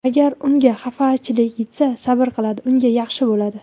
Agar unga xafachilik yetsa, sabr qiladi, unga yaxshi bo‘ladi.